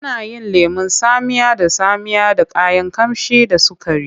Ana yin lemon tsamiya da tsamiya da kayan ƙamshi da sukari.